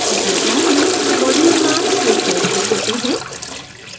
कृपया ध्यान दें मॉड्यूल नाम केस सेन्सिटिव होते हैं